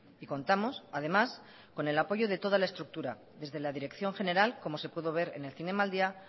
y contamos además con el apoyo de toda la estructura desde la dirección general como se pudo ver en el zinemaldia